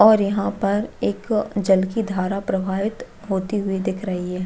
और यहाँ पर एक जल की धारा प्रवाहित होती हुई दिख रही है।